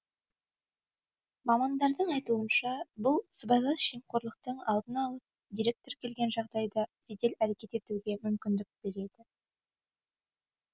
мамандардың айтуынша бұл сыбайлас жемқорлықтың алдын алып дерек тіркелген жағдайда жедел әрекет етуге мүмкіндік береді